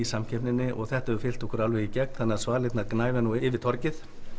samkeppninni þetta hefur fylgt okkur alveg í gegn þannig að svalirnar gnæfa yfir torgið